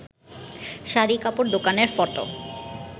শাড়ি কাপড় দোকানের ফটো